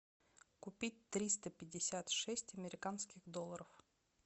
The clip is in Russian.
купить триста пятьдесят шесть американских долларов